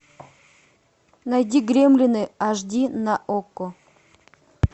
найди гремлины ашди на окко